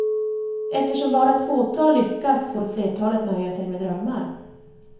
Eftersom bara ett fåtal lyckas får flertalet nöja sig med drömmar.